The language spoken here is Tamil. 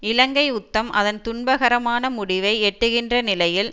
இலங்கை யுத்தம் அதன் துன்பகரமான முடிவை எட்டுகின்ற நிலையில்